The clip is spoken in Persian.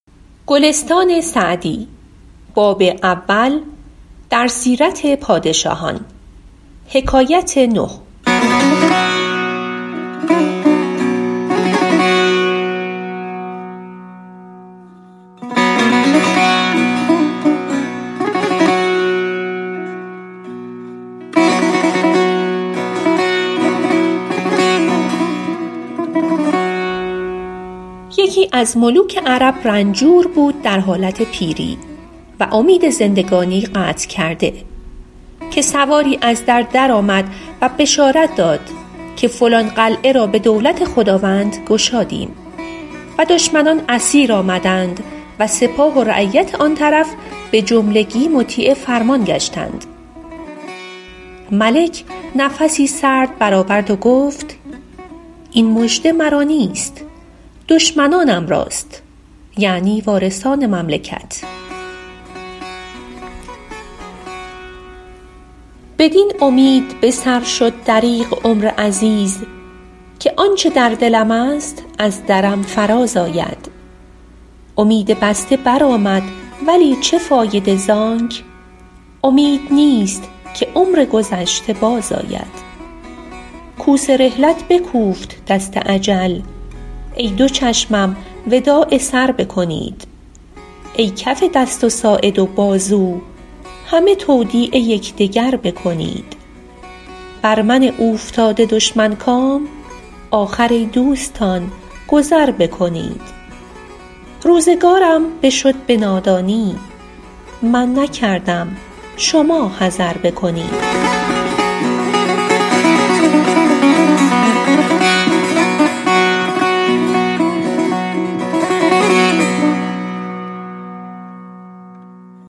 یکی از ملوک عرب رنجور بود در حالت پیری و امید زندگانی قطع کرده که سواری از در درآمد و بشارت داد که فلان قلعه را به دولت خداوند گشادیم و دشمنان اسیر آمدند و سپاه و رعیت آن طرف به جملگی مطیع فرمان گشتند ملک نفسی سرد بر آورد و گفت این مژده مرا نیست دشمنانم راست یعنی وارثان مملکت بدین امید به سر شد دریغ عمر عزیز که آنچه در دلم است از درم فراز آید امید بسته بر آمد ولی چه فایده زانک امید نیست که عمر گذشته باز آید کوس رحلت بکوفت دست اجل ای دو چشمم وداع سر بکنید ای کف دست و ساعد و بازو همه تودیع یکدگر بکنید بر من اوفتاده دشمن کام آخر ای دوستان گذر بکنید روزگارم بشد به نادانی من نکردم شما حذر بکنید